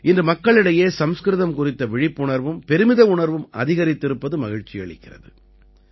இன்று மக்களிடையே சம்ஸ்கிருதம் குறித்த விழிப்புணர்வும் பெருமித உணர்வும் அதிகரித்திருப்பது மகிழ்ச்சி அளிக்கிறது